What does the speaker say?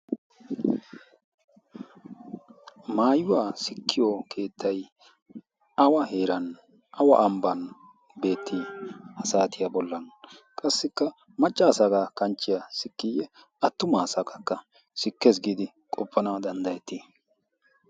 maayuwaa sikkiyo keettai awa heeran awa ambban beettii ha saatiyaa bollan qassikka machchaa sagaa kanchchiya sikkiiyye attumaa saakakka sikkees giidi qoppana danddayettii?